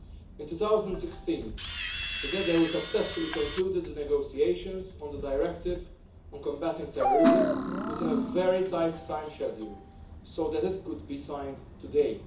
In 2016 together we successfully concluded the negotiations on the Directive on Combating Terrorism within a very tight schedule so that it could be signed today.